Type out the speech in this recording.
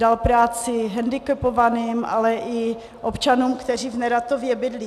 Dal práci hendikepovaným, ale i občanům, kteří v Neratově bydlí.